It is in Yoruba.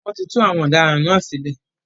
Wọ́n ti tú àwọn ọ̀daràn náà sílẹ̀.